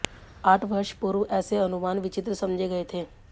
आठ वर्ष पूर्व ऐसे अनुमान विचित्र समझे गए थे